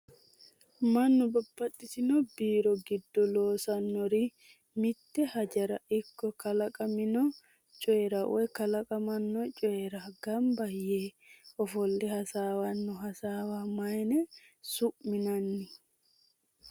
Mannu babaxitinno biiro giddo loosannori mite hajora ikko kalaqamino coyira woy kalaqamanno coyira gaamba yee ofolle hasawanno hasawa mayin su'minan?